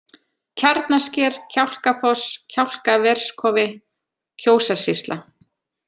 Kjarnasker, Kjálkafoss, Kjálkaverskofi, Kjósarsýsla